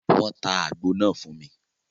Wọ́n tá àgbo náà fún mi